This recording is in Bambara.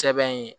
Sɛbɛn ye